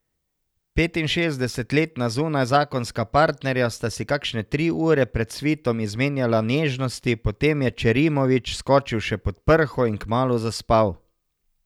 Petinšestdesetletna zunajzakonska partnerja sta si kakšne tri ure pred svitom izmenjala nežnosti, potem je Ćerimović skočil še pod prho in kmalu zaspal.